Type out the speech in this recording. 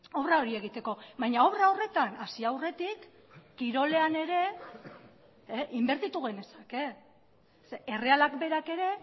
obra hori egiteko baina obra horretan hasi aurretik kirolean ere inbertitu genezake errealak berak ere